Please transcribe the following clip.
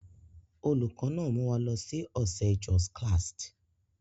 Olùkọ́ náà mú wa lọ sí ọ̀sẹ̀ Jos klast.